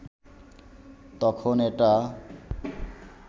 তখন এটা